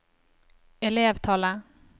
elevtallet